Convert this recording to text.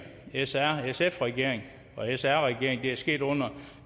srsf regering og sr regering det er sket under